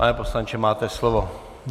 Pane poslanče, máte slovo.